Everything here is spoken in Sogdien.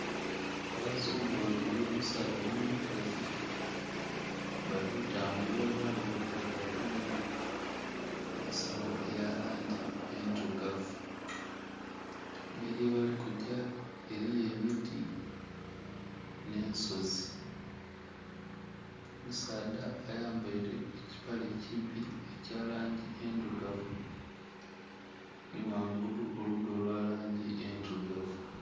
Abazungu babili, omusaadha nh'omukazi bali tambula ela nga omukazi agemye ensagho eya langi endhilugavu. Embeli yebali kugya eliyo emiti nh'ensozi. Omusaadha ayambaile ekipale ekimpi ekya langi endhilugavu nhi ghangulu olugoye olwa langi endhilugavu.